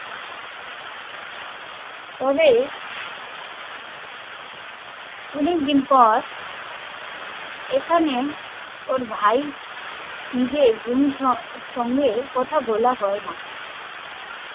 তবে অনেকদিন পর এখানে ওর ভাই নিজের সঙ্গে কথা বলা হয় না